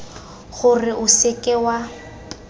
gore o se ke wa